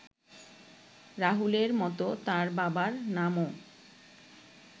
রাহুলের মতো তার বাবার নামও